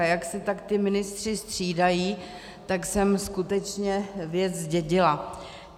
A jak se tak ti ministři střídají, tak jsem skutečně věc zdědila.